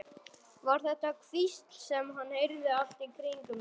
Var þetta hvísl sem hann heyrði allt í kringum sig?